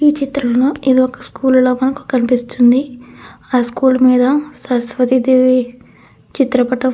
ఈ చిత్రంలో ఇది ఒక స్కూల్ లాగా మనకి కనిపిస్తుంది ఆ స్కూల్ మీద సరస్వతి దేవి చిత్రపటం --